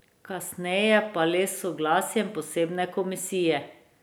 Kasneje pa le s soglasjem posebne komisije.